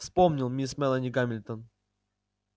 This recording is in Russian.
вспомнил мисс мелани гамильтон